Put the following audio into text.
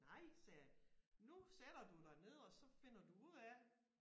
Nej sagde jeg nu sætter du dig ned og så finder du ud af